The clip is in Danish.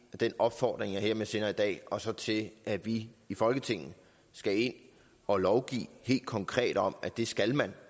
den opfordring jeg hermed sender i dag og så til at vi i folketinget skal ind og lovgive helt konkret om at det skal man